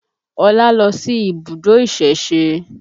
Ọlá lọ sí ibùdó ìsẹ̀se